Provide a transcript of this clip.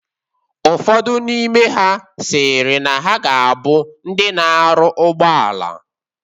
Ụfodụ n'ime ha sịrị na ha ga abụ ndị na-arụ ụgbọala